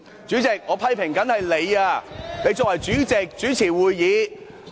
主席，我批評的是你，你身為主席主持會議。